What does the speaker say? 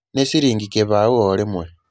Nĩ ciringi kĩbaũ orimwe